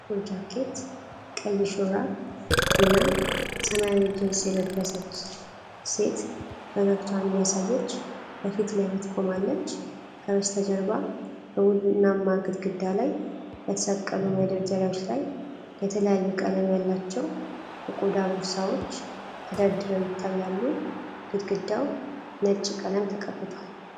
ጥቁር ጃኬት፣ ቀይ ሹራብ እና ሰማያዊ ጂንስ የለበሰች ሴት ፈገግታዋን እያሳየች በፊት ለፊት ቆማለች። ከበስተጀርባ በቡናማ ግድግዳ ላይ በተሰቀሉ መደርደሪያዎች ላይ የተለያዩ ቀለም ያላቸው የቆዳ ቦርሳዎች ተደርድረው ይታያሉ። ግድግዳው ነጭ ቀለም ተቀብቷል።